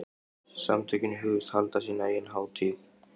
Samtökin hugðust halda sína eigin hátíð.